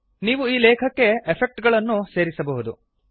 ನೀವು ಈ ಲೇಖಕ್ಕೆ ಎಫೆಕ್ಟ್ ಗಳನ್ನೂ ಸೇರಿಸಬಹುದು